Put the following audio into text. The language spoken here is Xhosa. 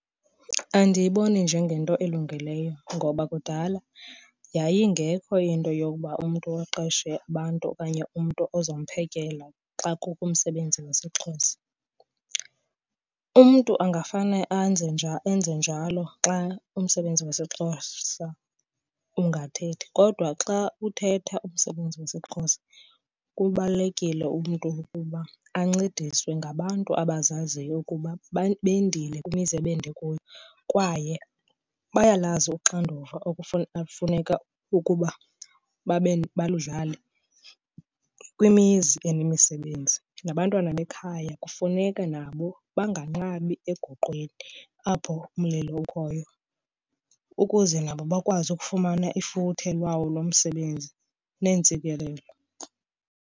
Andiyiboni njengento elungileyo ngoba kudala yayingekho into yokuba umntu aqeshe abantu okanye umntu ozamphekela xa kukho umsebenzi wesiXhosa. Umntu ungafane enze njalo xa umsebenzi wesiXhosa ungathethi. Kodwa xa uthetha umsebenzi wesiXhosa, kubalulekile umntu ukuba ancediswe ngabantu abazaziyo ukuba bendile kwemizi ende kuyo kwaye bayalazi uxanduva elufuneka ukuba baludlale kwimizi enemisebenzi. Nabantwana bekhaya kufuneke nabo banganqabi egoqweni apho umlilo ukhoyo ukuze nabo bakwazi ukufumana ifuthe lwawo lo msebenzi neentsikelelo.